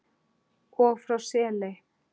og frá Seley.